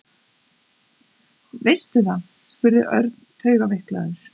Veistu það? spurði Örn taugaveiklaður.